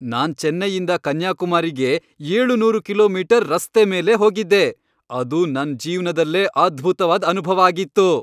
ನಾನ್ ಚೆನ್ನೈಯಿಂದ ಕನ್ಯಾಕುಮಾರಿಗೆ ಏಳುನೂರ್ ಕಿಲೋಮೀಟರ್ ರಸ್ತೆ ಮೇಲೇ ಹೋಗಿದ್ದೆ, ಅದು ನನ್ ಜೀವ್ನದಲ್ಲೇ ಅದ್ಭುತ್ವಾದ್ ಅನುಭವ ಆಗಿತ್ತು.